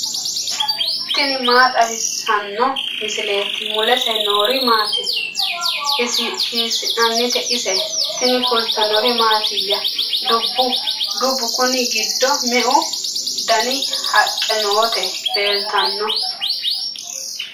tini maa xawissanno misileeti ? mulese noori maati ? hiissinannite ise ? tini kultannori mattiya? dubbu konni giddo meu danni haqqe nootti leelittanno?